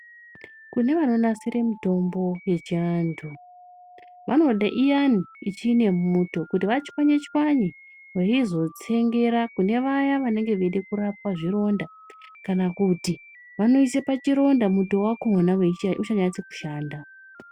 Kune vanonasire mutombo yechiantu vanode iyani ichinemuto, kuti vachwanye-chwanye veizotsengera kune vaya vanenge veida kurapwa zvironda. Kana kuti vanoise pachironda muto wakhona uchanyatse kushanda.